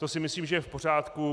To si myslím, že je v pořádku.